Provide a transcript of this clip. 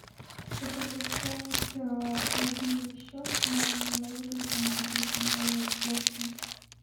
хотелось бы пополнить мобильный счет но не моего телефона а телефона моего родственника